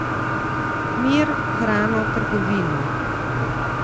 Mir, hrano, trgovino.